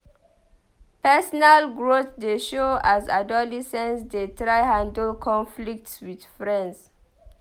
Personal growth dey show as adolescents dey try handle conflicts with friends.